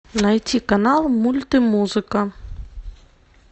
найти канал мульт и музыка